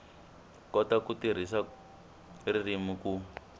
kota ku tirhisa ririmi ku